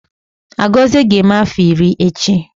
Agozie ga-eme afọ iri echi